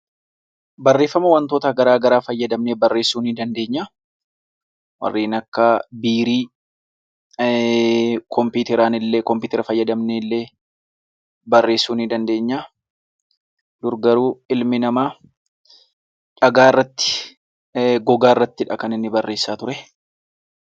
Barreeffama waantota garaagaraa fayyamnee barreessuu ni dandeenya. Warreen akka biirii, kompiitara fayyadamnee illee, barreessuu ni dandeenya, dur garuu ilmi namaa dhagaa irratti,, gogaa irratti kan inni barreessaa ture.